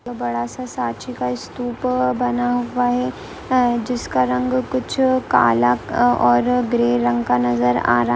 एक बड़ा सा सांची का स्तूप बना हुआ है अ जिसका रंग कुछ काला और ग्रे रंग का नजर आ